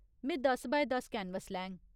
में दस बाय दस कैनवस लैङ।